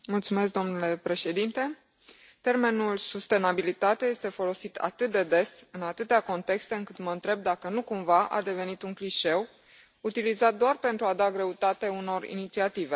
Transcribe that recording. Domnule președinte, termenul sustenabilitate este folosit atât de des, în atâtea contexte, încât mă întreb dacă nu cumva a devenit un clișeu utilizat doar pentru a da greutate unor inițiative.